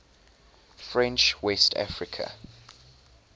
french west africa